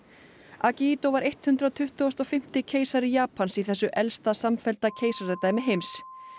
akihito var hundrað tuttugasta og fimmta keisari Japans í þessu elsta samfellda keisaradæmi heims